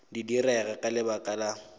di direga ka lebaka la